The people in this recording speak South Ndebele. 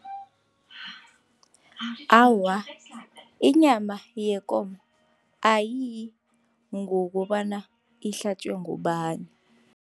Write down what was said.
Awa, inyama yekomo ayiyi ngokobana ihlatjwe ngubani.